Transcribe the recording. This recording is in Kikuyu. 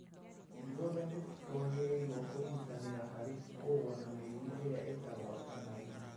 Ithuothe nĩ twagĩrĩirũo kũnyitanĩra harĩ kũrũa na mĩrimũ ĩrĩa itagwatanagio.